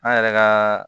An yɛrɛ ka